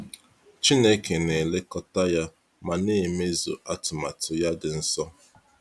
Chineke na elekọta ya ma n'emezuo atụmanya ya dị nsọ.